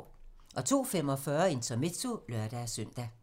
02:45: Intermezzo (lør-søn)